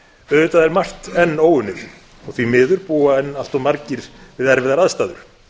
auðvitað er margt enn óunnið og því miður búa enn allt of margir við erfiðar aðstæður